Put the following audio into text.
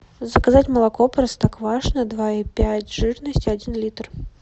заказать молоко простоквашино два и пять жирности один литр